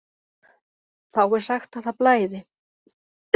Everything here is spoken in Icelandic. Þá er sagt að það blæði.